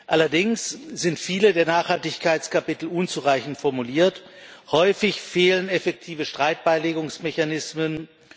Allerdings sind viele der Nachhaltigkeitskapitel unzureichend formuliert Häufig fehlen effektive Streitbeilegungsmechanismen.